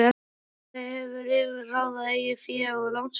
Félag hefur yfir að ráða eigið fé og lánsfé.